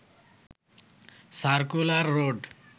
circular road